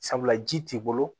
Sabula ji t'i bolo